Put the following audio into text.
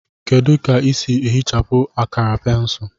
Kedu ka ị sị ehichapụ akara pensụl